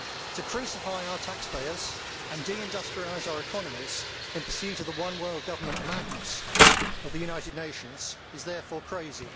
To crucify our taxpayers and de industrialise our economies in pursuit of the one world government madness of the United Nations is therefore crazy.